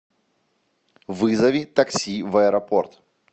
вызови такси в аэропорт